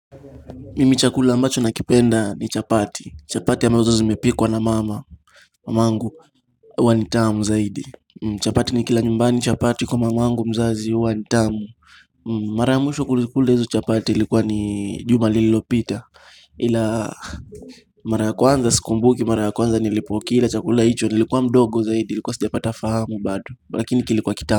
Mimi chakula ambacho nakipenda ni chapati. Chapati ambazo zimepikwa na mama. Mamangu huwa nitamu zaidi chapati ni kila nyumbani chapati kwa mamangu mzazi huwa nitamu Mara mwisho kulikula izo chapati ilikuwa ni jumalilopita Ila mara yakwanza sikumbuki mara kwanza nilipokila chakula hicho nilikuwa mdogo zaidi ilikuwa sijapata fahamu bado Lakini kilikuwa kitamu.